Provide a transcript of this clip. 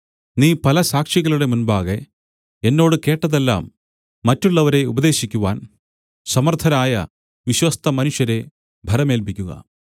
നീ പല സാക്ഷികളുടെ മുമ്പാകെ എന്നോട് കേട്ടതെല്ലാം മറ്റുള്ളവരെ ഉപദേശിക്കുവാൻ സമർത്ഥരായ വിശ്വസ്തമനുഷ്യരെ ഭരമേല്പിക്കുക